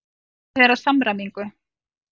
Unnið er að samræmingu.